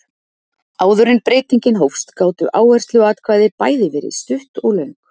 Áður en breytingin hófst gátu áhersluatkvæði bæði verið stutt og löng.